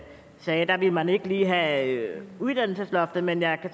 man ikke ville have uddannelsesloftet men jeg